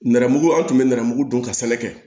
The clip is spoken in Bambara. Nɛrɛmugu an tun bɛ nɛrɛmugu dun ka sɛnɛ kɛ